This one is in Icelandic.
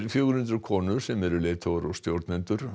fjögur hundruð konur sem eru leiðtogar og stjórnendur